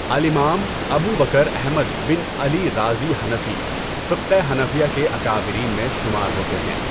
الإمام، Abu Bakr Ahmad bin Ali Razi Hanafi, فقہ حنفیہ کے اکابرین میں شمار ہوتے ہیں۔